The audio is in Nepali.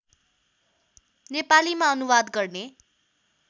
नेपालीमा अनुवाद गर्ने